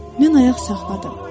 Mən ayaq saxladım.